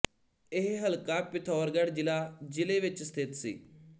ਇਹ ਹਲਕਾ ਪਿਥੌਰਗੜ੍ਹ ਜ਼ਿਲਾ ਜ਼ਿਲੇ ਵਿੱਚ ਸਥਿੱਤ ਸੀ